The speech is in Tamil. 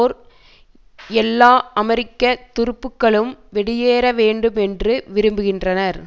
பேர் எல்லா அமெரிக்க துருப்புகளும் வெளியேற வேண்டும் என்று விரும்புகின்றனர்